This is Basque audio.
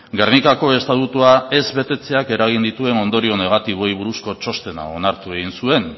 gernikako estatutua ez betetzeak eragin dituen ondorio negatiboei buruzko txostena onartu egin zuen